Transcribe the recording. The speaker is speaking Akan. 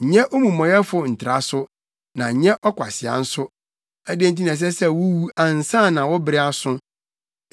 Nyɛ omumɔyɛfo ntra so, na nyɛ ɔkwasea nso, adɛn nti na ɛsɛ sɛ wuwu ansa na wo bere aso.